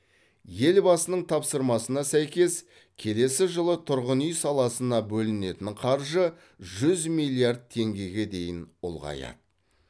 елбасының тапсырмасына сәйкес келесі жылы тұрғын үй саласына бөлінетін қаржы жүз миллиард теңгеге дейін ұлғаяды